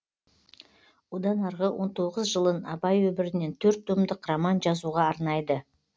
одан арғы он тоғыз жылын абай өмірінен төрт томдық роман жазуға арнайды